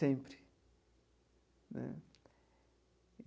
Sempre né.